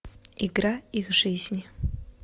игра их жизни